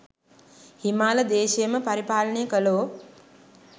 හිමාල දේශයම පරිපාලනය කළෝ,